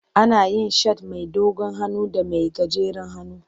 Ana yin shat mai dogon hannu da mai gajeren hannu.